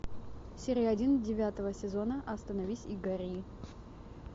серия один девятого сезона остановись и гори